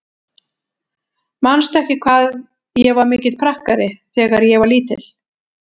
Manstu ekki hvað ég var mikill prakkari þegar ég var lítil?